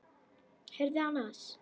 Heyrðu annars.